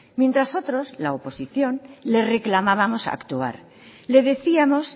mientras otros la oposición le reclamábamos actuar le decíamos